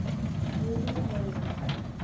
gilbert lawrence